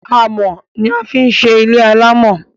amò ní a fi ń ṣe ilé amò